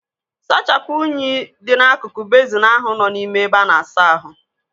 Sachapụ unyi dị n'akụkụ bezin ahụ nọ n'ime ebe ana-asa ahu.